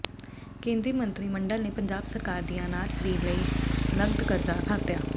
ਕੇਂਦਰੀ ਮੰਤਰੀ ਮੰਡਲ ਨੇ ਪੰਜਾਬ ਸਰਕਾਰ ਦੀਆਂ ਅਨਾਜ ਖਰੀਦ ਲਈ ਨਕਦ ਕਰਜ਼ਾ ਖਾਤਿਆਂ